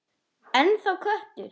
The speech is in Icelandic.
Ennþá köttur.